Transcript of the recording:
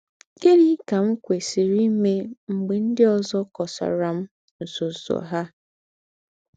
Gị̀nị́ kà m kwèsìrì íme m̀gbè ńdị́ ózọ kọ̀sàrà m̀ ńsọ̀nsọ̀ ha?